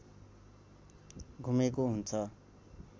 घुमेको हुन्छ